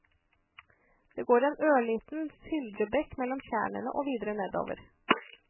Det går en ørliten sildrebekk mellom tjernene og videre nedover.